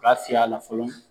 Ka fiy'a la fɔlɔ